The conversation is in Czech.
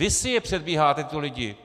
Vy si je předcházíte, ty lidi!